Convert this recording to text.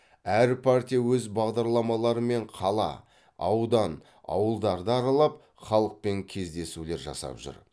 әр партия өз бағдарламаларымен қала аудан ауылдарды аралап халықпен кездесулер жасап жүр